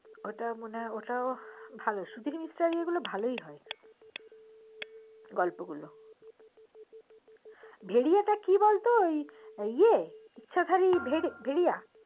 ওটা ওটাও মনে হয় ভালো সুধীর মিশ্রের বইগুলো ভালোই হয় গল্পগুলো ভেরিয়াটা কি বলতো আসলে ওই ইচ্ছাধারী ভরিয়া